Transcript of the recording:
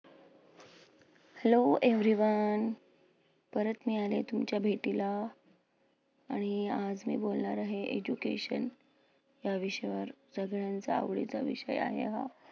hello everyone परत मी आले तुमच्या भेटीला. आणि आज मी बोलणार आहे education या विषयावर. सगळ्यांचा आवडीचा विषय आहे हा.